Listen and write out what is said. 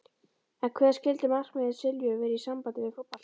En hver skyldu markmið Silvíu vera í sambandi við fótboltann?